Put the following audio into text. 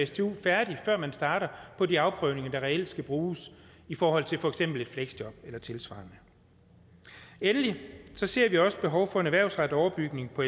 stu færdig før man starter på de afprøvninger der reelt skal bruges i forhold til for eksempel et fleksjob eller tilsvarende endelig ser vi også behov for en erhvervsrettet overbygning på